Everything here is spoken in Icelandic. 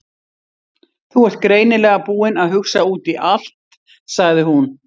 Þú ert greinilega búinn að hugsa út í allt- sagði hún.